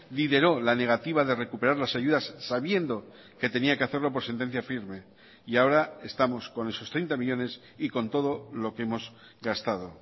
lideró la negativa de recuperar las ayudas sabiendo que tenía que hacerlo por sentencia firme y ahora estamos con esos treinta millónes y con todo lo que hemos gastado